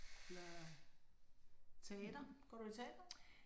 Eller teater. Går du i teater?